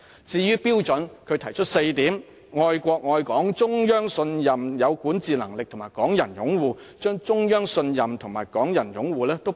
至於標準，他提出了4點：愛國愛港、中央信任、有管治能力及港人擁護，他一併提出"中央信任"及"港人擁護"兩點。